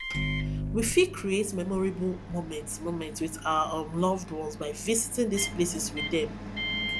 we fit create memorable moments moments with our um loved ones by visiting these places with dem